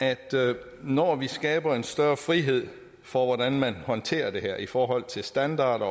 at når vi skaber en større frihed for hvordan man håndterer det her i forhold til standarder